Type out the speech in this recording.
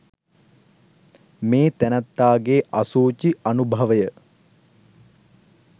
මේ තැනැත්තාගේ අසුචි අනුභවය